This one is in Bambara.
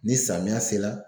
Ni samiya se la